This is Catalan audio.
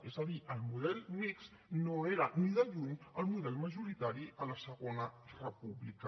és a dir el model mixt no era ni de lluny el model majoritari a la segona república